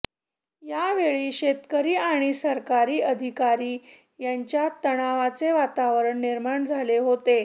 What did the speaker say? यावेळी शेतकरी आणि सरकारी अधिकारी यांच्यात तणावाचे वातावरण निर्माण झाले होते